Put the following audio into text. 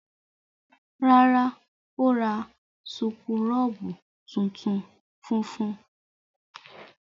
Rárá, ó ra súkúrọ́bù funfun.